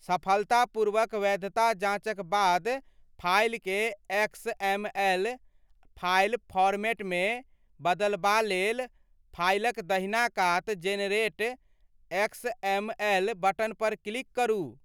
सफलतापूर्वक वैधता जाँचक बाद, फाइलकेँ एक्सएमएल फाइल फॉरमैटमे बदलबा लेल फाइलक दहिना कात 'जेनेरेट एक्सएमएल' बटन पर क्लिक करू।